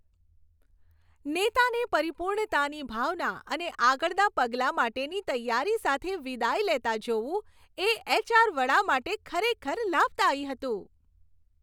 નેતાને પરિપૂર્ણતાની ભાવના અને આગળનાં પગલાં માટેની તૈયારી સાથે વિદાય લેતા જોવું, એ એચ.આર. વડા માટે ખરેખર લાભદાયી હતું.